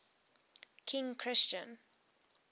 king christian